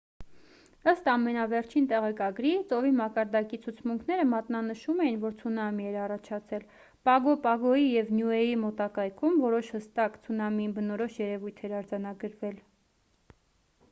ըստ ամենավերջին տեղեկագրի ծովի մակարդակի ցուցմունքները մատնանշում էին որ ցունամի էր առաջացել պագո պագոյի և նյուեի մոտակայքում որոշ հստակ ցունամիին բնորոշ երևույթ էր արձանագրվել